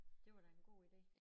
Det var da en god ide